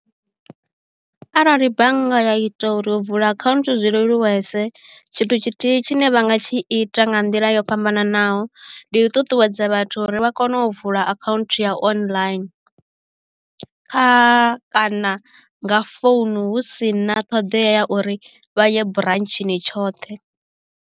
Arali bannga ya ita uri u vula akhaunthu zwi leluwese tshithu tshithihi tshine vha nga tshi ita nga nḓila yo fhambananaho ndi u ṱuṱuwedza vhathu uri vha kone u vula account u ya online kha kana nga founu hu si na ṱhoḓea ya uri vha ye branchini tshoṱhe.